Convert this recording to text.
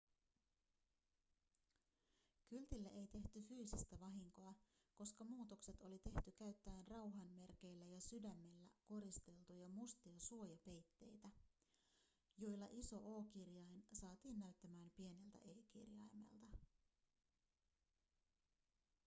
kyltille ei tehty fyysistä vahinkoa koska muutokset oli tehty käyttäen rauhanmerkeillä ja sydämellä koristeltuja mustia suojapeitteitä joilla iso o-kirjain saatiin näyttämään pieneltä e-kirjaimelta